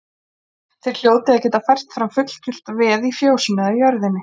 Þér hljótið að geta fært fram fullgilt veð í fjósinu eða jörðinni.